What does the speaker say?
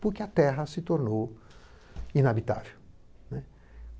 porque a terra se tornou inabitável.